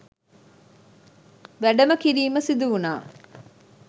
වැඩම කිරීම සිදුවුණා.